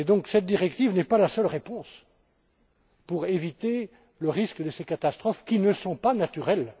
Cette directive n'est donc pas la seule réponse pour éviter le risque de ces catastrophes, qui ne sont pas naturelles.